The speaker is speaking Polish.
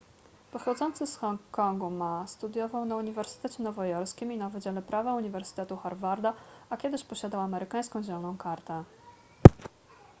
pochodzący z hongkongu ma studiował na uniwersytecie nowojorskim i na wydziale prawa uniwersytetu harvarda a kiedyś posiadał amerykańską zieloną kartę